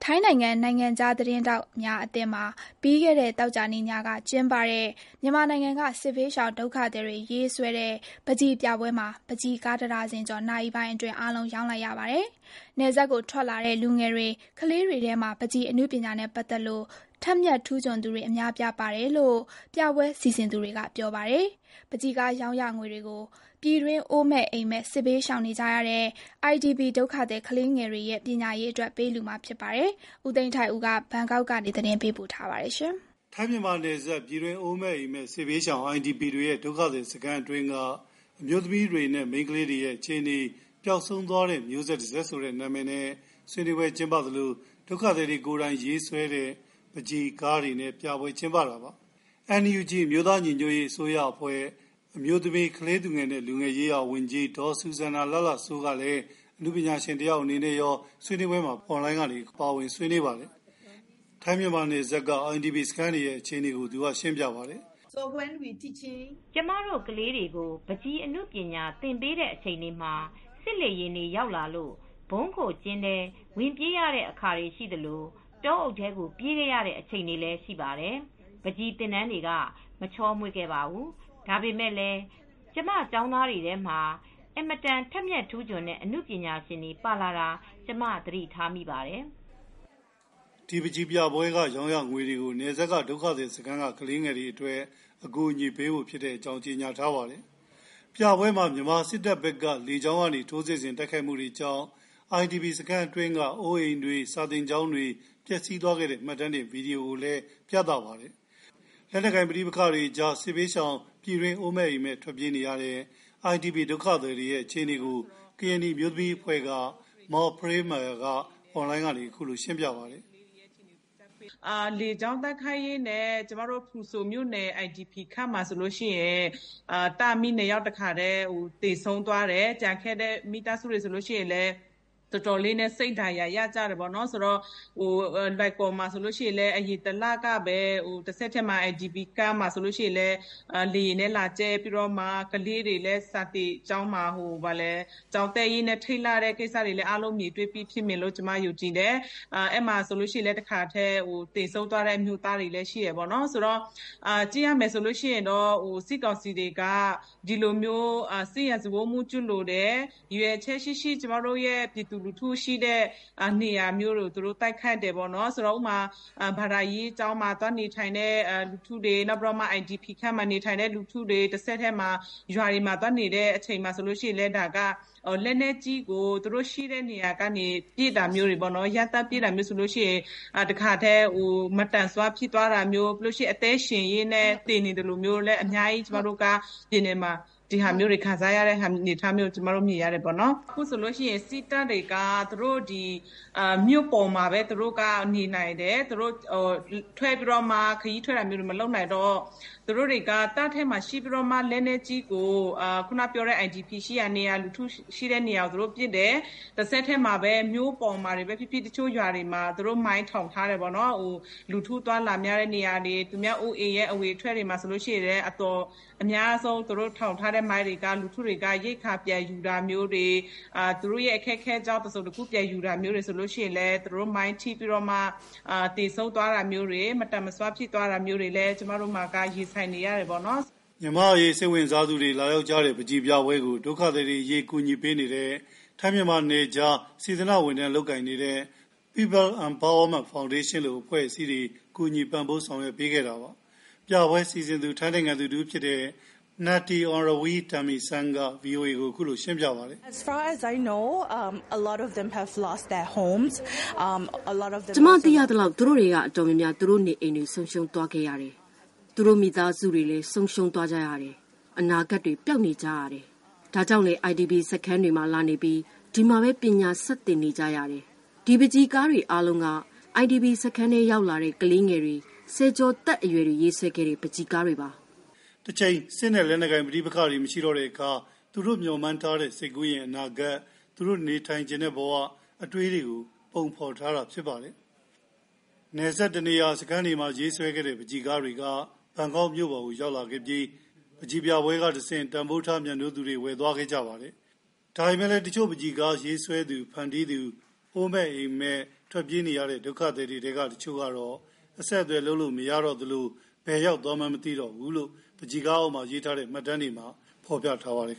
ိုင်းနိုင်ငံ နိုင်ငံခြားသတင်းထောက်များအသင်းမှာ ပြီးခဲ့တဲ့ သောကြာနေ့ညကကျင်းပတဲ့ မြန်မာနိုင်ငံက စစ်ဘေးရှောင်ဒုက္ခသည်တွေ ရေးဆွဲတဲ့ ပန်းချီပြပွဲမှာ ပန်းချီကားတဒါဇင်ကျော် နာရီပိုင်းအတွင်း အားလုံး ရောင်းလိုက်ရပါတယ်။ နယ်စပ်ကို ထွက်လာတဲ့ လူငယ်တွေ၊ ခလေးတွေထဲမှာ ပန်းချီ အနုပညာနဲ့ ပတ်သက်လို့ ထက်မြက်ထူးချွန်သူတွေ အများအပြားပါတယ်လို့ ပြပွဲစီစဉ်သူတွေက ပြောပါတယ်။ ပန်းချီကား ရောင်းရငွေတွေကို ပြည်တွင်းအိုးမဲ့အိမ့်မဲ့ စစ်ဘေးရှောင်နေကြတဲ့ IDP ဒုက္ခသည် ကလေးငယ်တွေရဲ့ ပညာရေးအတွက် ပေးလှူမှာဖြစ်ပါတယ်။ ဦးသိန်းထိုက်ဦး ဘန်ကောက်ကနေ သတင်းပေးပို့ထားပါတယ်။ ထိုင်းမြန်မာနယ်စပ် ပြည်တွင်းအိုးမဲ့အိမ်မဲ့ စစ်ဘေးရှောင် IDP တွေရဲ့ ဒုက္ခသည်စခန်းအတွင်းက အမျိုးသမီးတွေနဲ့ မိန်းခလေးတွေရဲ့ အခြေအနေ၊ ပျောက် ဆုံးသွားတဲ့ မျိုးဆက်တဆက် ဆိုတဲ့ နာမည်နဲ့ ဆွေးနွေးပွဲကျင်းပသလို ဒုက္ခသည်တွေ ကိုယ်တိုင်ရေးဆွဲတဲ့ ပန်းချီပြပွဲကျင်းပတာပါ။ NUG အမျိုးသားညီညွတ်ရေးအစိုးရအဖွဲ့ အမျိုးသမီး၊ ကလေးသူငယ်နဲ့ လူငယ်ရေးရာဝန်ကြီး Sussanna Hla Hla Soe ကလည်း အနုပညာရှင်တယောက် အနေနဲ့ရော ဆွေးနွေးပွဲမှာ ပါဝင်ဆွေးနွေးပါတယ်။ နယ်စပ်က IDP စခန်းတွေရဲ့ အခြေအနေတွေကို အွန်လိုင်းက ရှင်းပြပါတယ်။ “ကျမတို့ ကလေးတွေကို ပန်းချီအနုပညာသင်ပေးတဲ့အချိန်တွေမှာ စစ်လေယာဉ်တွေ ရောက်လာလို့ ဗုံးခိုကျင်းထဲဝင်ပြေးရတဲ့အခါတွေရှိသလို တောအုပ်ထဲကို ပြေးခဲ့ရတဲ့အချိန်တွေရှိပါတယ်။ ပန်းချီသင်တန်းက မချောမွေခဲ့ပါဘူး။ ဒါပေမယ့်လည်း ကျမ ကျောင်းသားတွေထဲမှာ အင်မတန် ထက်မြက်ထူးချွန်တဲ့ အနုပညာရှင်တွေ ပါလာတာ ကျမသတိထားမိပါတယ်။” ဒီ ပန်းချီပြပွဲက ရောင်းချရငွေတွေကို နယ်စပ်ဒုက္ခသည်စခန်းက ကလေးငယ်တွေအတွက် အကူအညီပေးဖို့ ဖြစ်ကြောင်း ကြေညာထားပါတယ်။ ပြပွဲမှာ မြန်မာစစ်တပ်ဘက်က လေကြောင်းကနေ ထိုးစစ်ဆင်တဲ့အတွက် IDP စခန်းအတွင်းက အိုးအိမ်တွေ စာသင်ကျောင်းတွေ ပျက်ဆီးသွားတဲ့ မှတ်တမ်းတင် ဗွီဒီယိုကိုလည်း ပြသပါတယ်။ လက်နက်ကိုင် ပဋိပက္ခတွေအကြား စစ်ဘေးရှောင် ပြည်တွင်း အိုးမဲ့အိမ်မဲ့ ထွက်ပြေးနေရတဲ့ IDP ဒုက္ခသည်တွေရဲ့ အခြေအနေကို ကရင်နီအမျိုးသမီးအဖွဲ့က Maw Pray Myar ကလည်း အွန်လိုင်းက အခုလို ရှင်းပြပါတယ်။ “ လေကြောင်းတိုက်ခိုက်ရင်းနဲ့ ကျမတို့ ဖရူဆိုမြို့နယ် IDP camp မှာဆိုလို့ရှိရင် သားအမိနှစ်ယောက် တခါတည်း သေဆုံးသွားတယ်။ ကျန်ခဲ့တဲ့ မိသားစုတွေ ဆိုလို့ရှိရင်လည်း တော်တော်လေးစိတ်ဒဏ်ရာရကြတယ်ပေါ့။...ဆိုတော့... လွိုင်ကော်မှာဆိုလို့ရှိရင်လည်း အရင်လကပဲ IDP camp မှာ လေယာဉ်နဲ့လာကြဲပြီးတော့မှ ကလေးတွေလည်း စာသင်ကျောင်းမှာ ကျောင်းတက်ရင်းနဲ့ ထိတ်လန့်ရတဲ့ကိစ္စတွေလည်း အားလုံးမြင်တွေ့ပြီးဖြစ်မယ်လို့ ကျမယုံကြည်တယ်။ အဲဒီမှာဆိုလို့ရှိရင်လည်း တခါတည်း သေဆုံးသွားတဲ့ အမျိုးသားတွေလည်းရှိတယ်။ ဆိုတော့ ကြည့်ရမယ်ဆိုလို့ရှိရင်တော့ စစ်ကောင်စီတွေက စစ်ရာဇဝတ်မှုကျူးလွန်တယ်။ ရည်ရွယ်ချက်ရှိရှိ ကျမတို့ပြည်သူလူထုရှိတဲ့နေရာမျိုးတွေကို သူတို့ တိုက်ခိုက်တယ်ပေါ့နော်။ ဥပမာ ဘာသာရေးကျောင်းမှာ သွားနေထိုင်တဲ့သူတွေ၊ နောက်ပြီးတော့မှ IDP camp မှာနေထိုင်တဲ့သူတွေ၊ တဆက်တည်းမှာ ရွာတွေမှာသွားနေတဲ့အချိန်မှာဆိုလို့ရှိရင်လည်း လက်နက်ကြီးကို သူတို့ရှိတဲ့နေရာကနေပြီးမှ ပစ်တာမျိုးတွေပေါ့နော်- ရမ်းသမ်းပစ်တာမျိုးဆိုလို့ရှိရင် တခါတည်း မသန်စွမ်းဖြစ်သွားတာမျိုး၊ တခါတည်း အသက်ရှင်ရင်းနဲ့သေနေသလိုမျိုး ကျမတို့က အများကြီးကျမတို့ မြင်ရတယ်ပေါ့နော်။ အခုဆိုလို့ရှိရင် စစ်တပ်တွေက မြို့ပေါ်မှာပဲ ခရီးထွက်တာမျိုးတွေ မလုပ်နိုင်တော့- သူတို့က တပ်ထဲမှာရှိပြီးတော့မှ လက်နက်ကြီးကို အခုနပြောတဲ့ IDP ရှိတဲ့နေရာ၊ လူထုရှိတဲ့နေရာတွေကို သူတို့ပစ်တယ်၊ တဆက်တည်းမှာပဲ မြို့ပေါ်မှာတွေပဲဖြစ်ဖြစ်၊ တချို့ရွာတွေမှာ သူတို့ မိုင်းထောင်ထားတယ်ပေါ့နော်၊ လူထုအသွားအလာများတဲ့နေရာတွေ၊ သူများအိုးအိမ်ရဲ့အဝင်အထွက်တွေမှာဆိုလို့ရှိရင်လည်း ရိက္ခာပြန်ယူတာတွေ၊ သူတို့ရဲ့အခက်အခဲကြောင့် တခုခုပြန်ယူတာမျိုးတွေဆိုလို့ရှိရင်လည်း မိုင်းထိပြီးတော့မှ သေဆုံးသွားတာမျိုးတွေ၊ မသန်မစွမ်း ဖြစ်သွားတာမျိုးတွေလည်း ကျမတို့မှာက ရင်ဆိုင်နေရတယ်ပေါ့နော်။” မြန်မာ့အရေးစိတ်ဝင်စားသူတွေ လာရောက်ကြတဲ့ ပန်းချီပြပွဲကို ဒုက္ခသည်တွေအရေး ကူညီပေးနေတဲ့ ထိုင်းမြန်မာနယ်ခြား စေတနာ့ဝန်ထမ်းလုပ်ကိုင်နေသူတွေ People Empowerment Foundation လို အဖွဲ့အစည်းတွေက ကူညီပံ့ပိုးပြီး ဆောင်ရွက်ပေးခဲ့တာပါ။ ပြပွဲစီစဉ်သူ ထိုင်းနိုင်ငံသူတဦးဖြစ်တဲ့ Natty Onravee Tangmeesang က VOA ကို ရှင်းပြပပါတယ်။ “ကျမသိသလောက် သူတို့ထဲက တော်တော်များများက သူတို့ နေအိမ်တွေ ဆုံးရှုံးသွားတယ်။ သူတို့ မိသားစုတွေ ဆုံးရှုံးသွားကြတယ်။ အနာဂတ်ပျောက်နေကြပါတယ်။ ဒါကြောင့်လည်း IDP စခန်းတွေမှာ လာနေပြီး ဒီမှာပဲ ပညာဆက်သင်ကြရပါတယ်။ ဒီပန်းချီကားအားလုံးက IPD စခန်းထဲရောက်လာတဲ့ ကလေးငယ်တွေ၊ ဆယ်ကျော်သက်အရွယ်တွေ ရေးဆွဲခဲ့တဲ့ ပန်းချီကားတွေပါ။” တချိန် စစ်နဲ့လက်နက်ပိုင်ပဋိပက္ခတွေ မရှိတော့တဲ့အခါ သူတို့မျှော်မှန်းထားတဲ့ စိတ်ကူးယဉ်၊ အနာဂတ်၊ သူတို့နေထိုင်ချင်တဲ့ဘဝ၊ အတွေးတွေကို ပုံဖေါ်ထားတာဖြစ်ပါတယ။် နယ်စပ်တနေရာစခန်းတွေမှာ ရေးဆွဲခဲ့တဲ့ ပန်းချီကားတွေက ဘန်ကောက်မြို့ပေါ်ကို ရောက်လာခဲ့ပါတယ်။ ပန်းချီပြပွဲကတဆင့် မြို့ပြမှာ တန်ဖိုးထားမြတ်နိုးသူတွေ ဝယ်သွားကြပါတယ်။ ဒါပေမယ့်လည်း တချို့ပန်းချီကားရေးဆွဲသူဖန်တီးသူ အိုးမဲ့အိမ်မဲ့ဒုက္ခသည်တွေထဲက တချို့ကို အဆက်အသွယ်လုပ်လို့မရတော့သလို ဘယ်ရောက်သွားမှန်း မသိတော့ဘူးလို့ ပန်းချီကားအောက်မှာ ရေးထားတဲ့ မှတ်တမ်းတွေမှာ ဖေါ်ပြထားပါတယ်